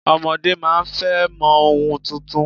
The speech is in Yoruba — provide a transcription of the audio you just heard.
Ọmọdé máa ń fẹ́ mọ ohun tuntun